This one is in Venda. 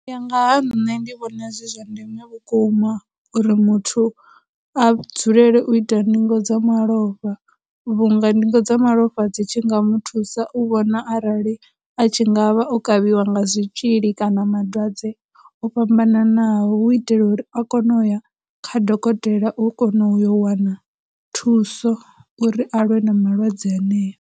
U ya nga ha nṋe ndi vhona zwi zwa ndeme vhukuma uri muthu a dzulele u ita ndingo dza malofha vhunga ndingo dza malofha dzi tshi nga mu thusa u vhona arali a tshi ngavha o kavhiwa nga zwitzhili kana malwadze o fhambananaho, hu itela uri a kone u ya kha dokotela u kono u yo wana thuso uri a lwe na malwadze aneyo.